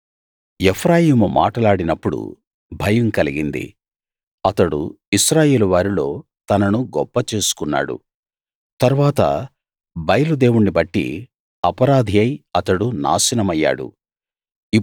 ఎఫ్రాయిము మాటలాడినప్పుడు భయం కలిగింది అతడు ఇశ్రాయేలు వారిలో తనను గొప్ప చేసుకున్నాడు తరువాత బయలు దేవుణ్ణి బట్టి అపరాధియై అతడు నాశనమయ్యాడు